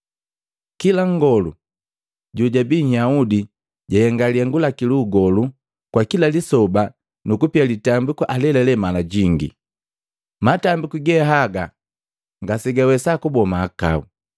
Kila ngolu jojabii Nhyaudi jahenga lihengu laki lu ugolu kwa kila lisoba nu kupia litambiku alelale mala jingi, matambiku ge haga ngasegawesa kuboa mahakau.